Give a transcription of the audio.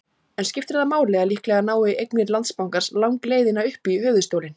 En skiptir það máli að líklega nái eignir Landsbankans langleiðina upp í höfuðstólinn?